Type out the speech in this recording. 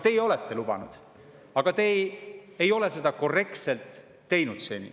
Teie olete lubanud, aga te ei ole seda seni korrektselt teinud.